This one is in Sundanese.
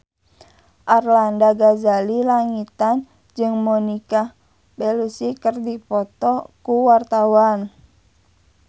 Arlanda Ghazali Langitan jeung Monica Belluci keur dipoto ku wartawan